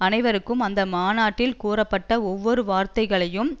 அனைவரும் அந்த மாநாட்டில் கூறப்பட்ட ஒவ்வொரு வார்த்தையையும்